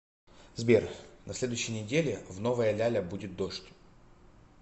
сбер на следующей неделе в новая ляля будет дождь